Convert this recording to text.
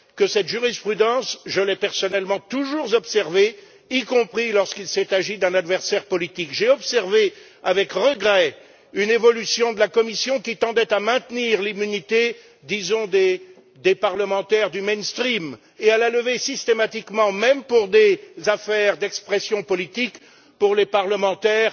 Cette jurisprudence, je l'ai, je pense, personnellement toujours observée, y compris lorsqu'il s'est agi d'un adversaire politique. J'ai observé avec regret une évolution de la commission qui tendait à maintenir l'immunité, disons, des parlementaires mainstream et à la lever systématiquement, même pour des affaires d'expression politique, pour les parlementaires